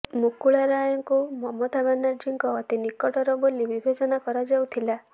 ମୁକୁଳ ରାୟଙ୍କୁ ମମତା ବାନାର୍ଜୀଙ୍କ ଅତି ନିକଟର ବୋଲି ବିବେଚନା କରାଯାଉଥିଲା